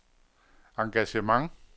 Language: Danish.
engagement